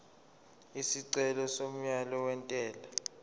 isicelo somyalo wentela